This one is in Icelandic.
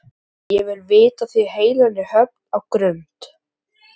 Linja hló og potaði hendinni undir arminn á Tóta.